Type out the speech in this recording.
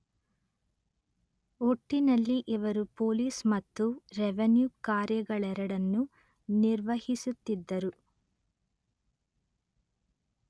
ಒಟ್ಟಿನಲ್ಲಿ ಇವರು ಪೊಲೀಸ್ ಮತ್ತು ರೆವಿನ್ಯೂ ಕಾರ್ಯಗಳೆರಡನ್ನೂ ನಿರ್ವಹಿಸುತ್ತಿದ್ದರು